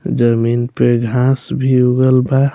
जमीन पे घास भी उगल बा।